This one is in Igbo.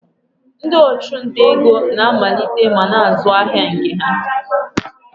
Ndị ọchụnta ego na-amalite ma na-azụ ahịa nke ha.